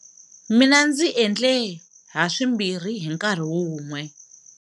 Mina ndzi endle ha swimbirhi hi nkarhi wun'we.